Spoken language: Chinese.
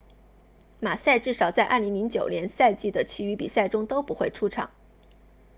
马萨 massa 至少在2009赛季的其余比赛中都不会出场